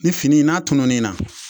N'a tunun'i na